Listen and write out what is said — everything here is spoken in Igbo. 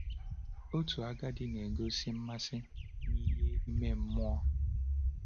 Otu agadi na-egosi mmasị n’ihe ime mmụọ.